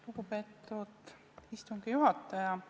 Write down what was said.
Lugupeetud istungi juhataja!